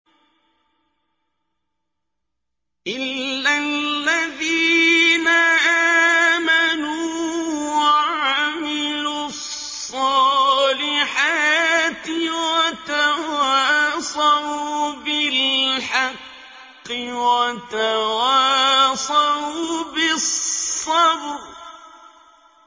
إِلَّا الَّذِينَ آمَنُوا وَعَمِلُوا الصَّالِحَاتِ وَتَوَاصَوْا بِالْحَقِّ وَتَوَاصَوْا بِالصَّبْرِ